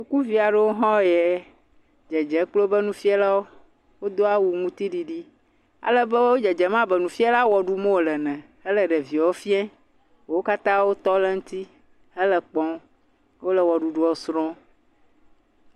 Sukuviaɖewo hã yɛ dzedze kpli obe nufialawo wo doawu ŋuti ɖiɖi alebe wo dzedzem abe nufiala ewɔɖumɔ le ne hele ɖeviɔ fiɛ ko wo katã wo tɔ le ŋti hele kpɔ wo ɖuɖuɔ srɔ̃.